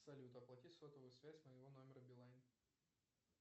салют оплати сотовую связь моего номера билайн